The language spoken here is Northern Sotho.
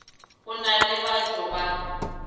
go na le bato ba